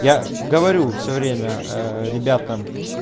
я говорю все время ээ ребятам